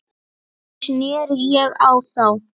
Þannig sneri ég á þá.